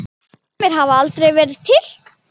Sumir hafa aldrei verið til.